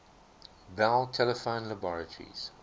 bell telephone laboratories